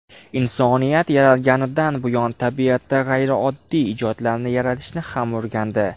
Insoniyat yaralganidan buyon tabiatda g‘ayrioddiy ijodlarni yaratishni ham o‘rgandi.